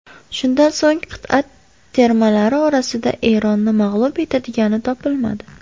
Shundan so‘ng qit’a termalari orasida Eronni mag‘lub etadigani topilmadi.